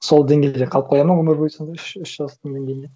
сол деңгейде қалып қояды ма өмір бойы сонда үш жастың деңгейінде